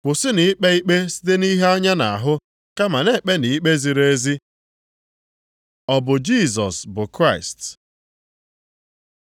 Kwụsịnụ ikpe ikpe site nʼihe anya na-ahụ, kama na-ekpenụ ikpe ziri ezi.” Ọ bụ Jisọs bụ Kraịst?